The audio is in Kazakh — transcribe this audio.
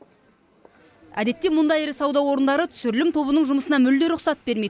әдетте мұндай ірі сауда орындары түсірілім тобының жұмысына мүлде рұқсат бермейді